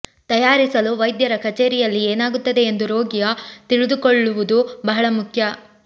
ತಯಾರಿಸಲು ವೈದ್ಯರ ಕಚೇರಿಯಲ್ಲಿ ಏನಾಗುತ್ತದೆ ಎಂದು ರೋಗಿಯ ತಿಳಿದುಕೊಳ್ಳುವುದು ಬಹಳ ಮುಖ್ಯ